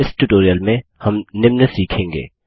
इस ट्यूटोरियल में हम निम्न सीखेंगे